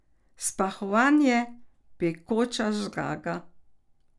Spahovanje, pekoča zgaga?